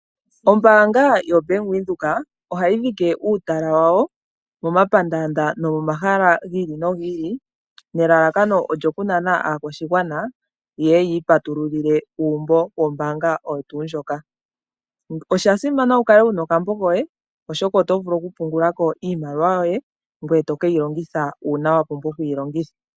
Ombaanga yoBank Windheok ohayi dhike uutala wawo momapandaanda nomomahala gi ili nogi ili nelelakano olyo kunana aakwashigwana yeye yi ipatululile uumbo wawo wombaanga oyo tuundjoka. Oshasimana wukale wuna okambo koye oshoka, oto vulu okupungulako iimaliwa yoye ngoye tokeyi longitha uuna wapumbwa okukeyi longitha.